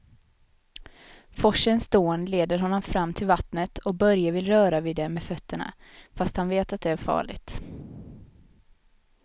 Forsens dån leder honom fram till vattnet och Börje vill röra vid det med fötterna, fast han vet att det är farligt.